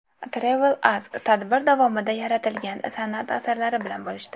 TravelAsk tadbir davomida yaratilgan san’at asarlari bilan bo‘lishdi.